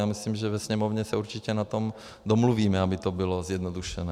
Já myslím, že ve Sněmovně se určitě na tom domluvíme, aby to bylo zjednodušeno.